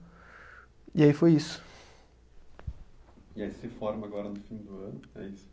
E aí foi isso. E aí você se forma agora no fim do ano, é isso?